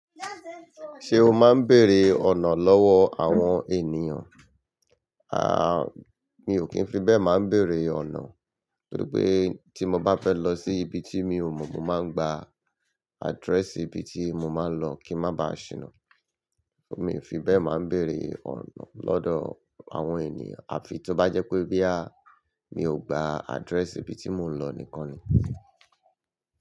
Ṣé o máa ń bèrè ọ̀nà lọ́wọ́ àwọn ènìyàn? À, mi ò kí ń fi bẹ́ẹ̀ máa ń bèrè ọ̀nà, nítorí pé tí mo bá fẹ́ lọ sí ibi tí mi ò mọ̀, mo máa ń gba address ibi tí mo máa ń lọ kí ń má ba à ṣìnà. Mi ò fi bẹ́ẹ̀ máa ń bèrè ọ̀nà lọ́dọ̀ àwọn ènìyàn. Àfi tó bá jẹ́ pé bóyá, mi ò gba address ibi tí mò ń lọ nìkan ni.